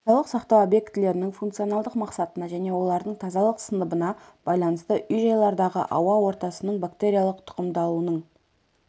денсаулық сақтау объектілерінің функционалдық мақсатына және олардың тазалық сыныбына байланысты үй-жайлардағы ауа ортасының бактериялық тұқымдалуының